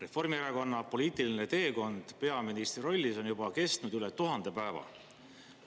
Reformierakonna poliitiline teekond peaministri rollis on juba kestnud üle 1000 päeva.